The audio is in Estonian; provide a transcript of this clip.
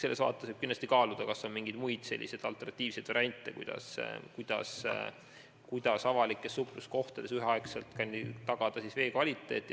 Seega võiks kindlasti kaaluda, kas on mingeid muid, alternatiivseid variante, kuidas kõigis avalikes supluskohtades tagada vee hea kvaliteet.